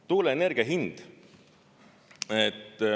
Tuuleenergia hind.